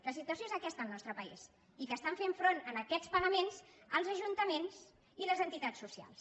la situació és aquesta al nostre país i que estan fent front a aquests pagaments els ajuntaments i les entitats socials